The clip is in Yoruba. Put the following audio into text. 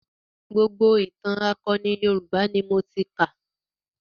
Gbogbo ìtàn akọni Yorùbá ni kà.